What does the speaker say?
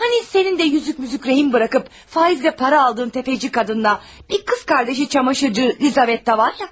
Hani sənin də üzük-müzük girov qoyub faizlə pul aldığın sələmçi qadınla bir bacısı camaşırçı Lizavetta var idi axı?